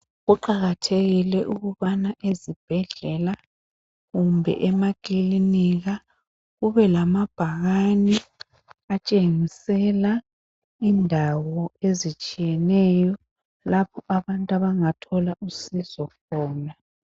Kuqakathekile ukubana ezibhedlela kumbe emakilinika kube lamabhakani atshengisela indawo ezitshiyeneyo lapho abantu abangathola usizo khona. .